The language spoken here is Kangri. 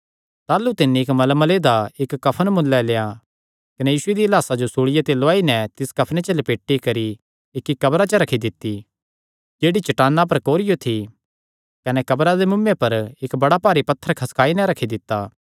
ताह़लू तिन्नी मलमले दा इक्क कफन मुल्लें लेआ कने यीशु दिया लाह्सा जो सूल़िया ते लौआई नैं तिस कफने च लपेटी करी इक्की कब्रा च जेह्ड़ी चट्टाना पर कोरियो थी रखी दित्ती कने कब्रा दे मुँऐ पर इक्क बड़ा भारी पत्थर खसकाई नैं रखी दित्ता